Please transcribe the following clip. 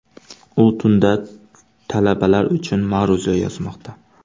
U tunda talabalar uchun ma’ruza yozmoqda”.